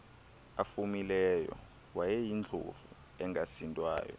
afumileyo wayeyindlovu engasindwayo